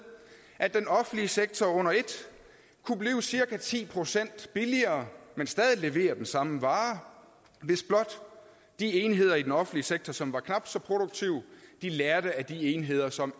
at den offentlige sektor under et kunne blive cirka ti procent billigere men stadig levere den samme vare hvis blot de enheder i den offentlige sektor som er knap så produktive lærte af de enheder som